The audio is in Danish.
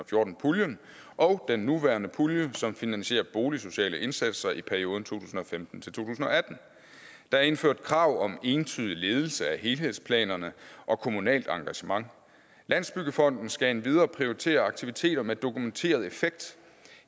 fjorten puljen og den nuværende pulje som finansierer boligsociale indsatser i perioden tusind og femten til atten der er indført krav om entydig ledelse af helhedsplanerne og kommunalt engagement landsbyggefonden skal endvidere prioritere aktiviteter med dokumenteret effekt